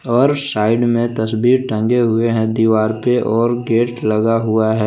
और साइड में तस्वीर टंगे हुए हैं दीवार पे और गेट लगा हुआ है।